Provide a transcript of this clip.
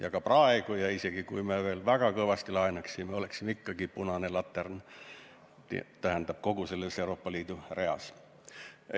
Ja ka praegu ja isegi kui me veel väga kõvasti laenaksime, oleksime ikkagi selles mõttes punane latern kogu selles Euroopa Liidu riikide reas.